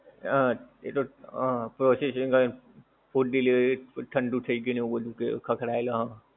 હમ processing હોય એમ food delivery ઠડું થઈ ગયું ને એવું બધુ કે ખખડાયેલો આમ